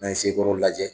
N'an ye sekɔrɔ lajɛ